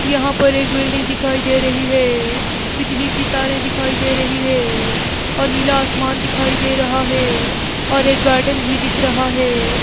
यहां पर एक बिल्डिंग दिखाई दे रही है बिजली की तारें दिखाई दे रही है और नीला आसमान दिखाई दे रहा है और एक गार्डन भी दिख रहा है।